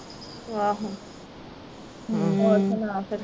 ਆਹੋ ਹੋਰ ਸੁਣਾ ਫਿਰ